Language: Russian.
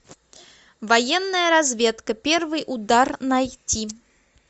военная разведка первый удар найти